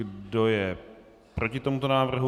Kdo je proti tomuto návrhu?